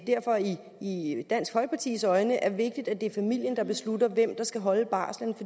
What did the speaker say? i dansk folkepartis øjne er vigtigt at det er familien der beslutter hvem der skal holde barslen